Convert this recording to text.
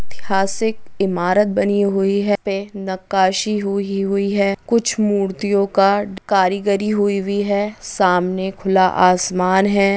ऐतिहासिक इमारत बनी हुई है नकाशी हुयी हुई है कुछ मूर्तियो का करिगरी हुयी हुई है सामने खुला आसमान है।